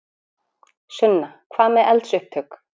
Sunna: Hvað með eldsupptök?